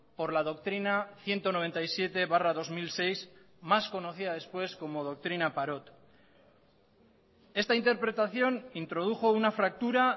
por la doctrina ciento noventa y siete barra dos mil seis más conocida después como doctrina parot esta interpretación introdujo una fractura